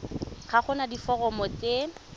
ga go na diforomo tse